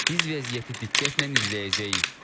Biz vəziyyəti diqqətlə izləyəcəyik.